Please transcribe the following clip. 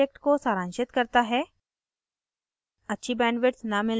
यह spoken tutorial project को सारांशित करता है